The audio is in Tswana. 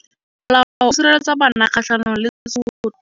Molao o sireletsa bana kgatlhanong le tshotlo.